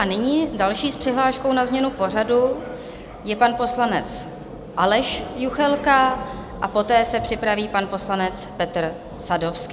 A nyní další s přihláškou na změnu pořadu je pan poslanec Aleš Juchelka a poté se připraví pan poslanec Petr Sadovský.